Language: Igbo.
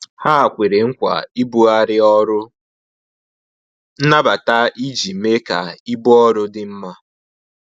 Ha kwere nkwa ibughari ọrụ nnabata iji mee ka ibu ọrụ dị mma